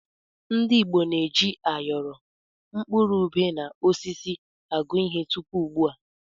Ndị Igbo na-eji áyọrọ, mkpụrụ ubé na osisi agụ ihe tupu ugbu a.